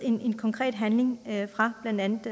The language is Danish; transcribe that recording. konkret handling fra blandt